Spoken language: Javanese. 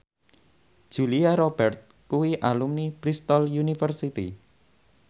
Julia Robert kuwi alumni Bristol university